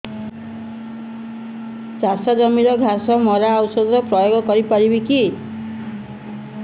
ଚାଷ ଜମିରେ ଘାସ ମରା ଔଷଧ ପ୍ରୟୋଗ କରି ପାରିବା କି